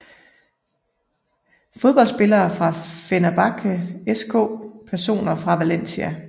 Fodboldspillere fra Fenerbahçe SK Personer fra Valencia